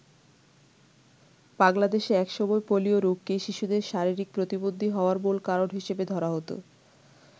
বাংলাদেশে একসময় পোলিও রোগকেই শিশুদের শারীরিক প্রতিবন্ধী হওয়ার মূল কারণ হিসেবে ধরা হত।